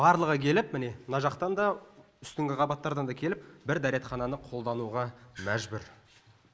барлығы келіп міне мына жақтан да үстіңгі қабаттардан да келіп бір дәретхананы қолдануға мәжбүр